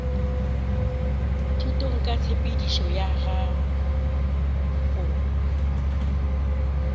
thutong ka tshepedišo ya go